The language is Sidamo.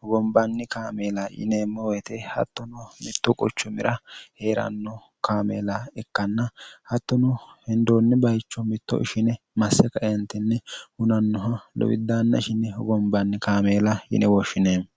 hugambanni kaameela yineemmohete hattono mitto quchumira hee'ranno kaameela ikkanna hattono hindoonni bayicho mitto ishine masse kaeentinni hunannoha lowiddaanna ishine hugombanni kaameela yine wooshshineemmo